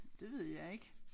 Det ved jeg ikke